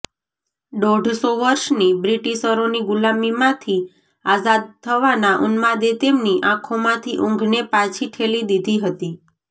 દોઢસો વર્ષની બ્રિટિશરોની ગુલામીમાંથી આઝાદ થવાના ઉન્માદે તેમની આંખોમાંથી ઊંઘને પાછી ઠેલી દીધી હતી